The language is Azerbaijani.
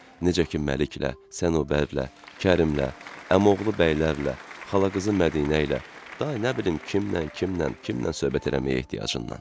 necə ki, Məliklə, Sənubərlə, Kərimlə, əmioğlu bəylərlə, xalaqızı Mədinə ilə, da nə bilim kimlə, kimlə, kimlə söhbət eləməyə ehtiyacından.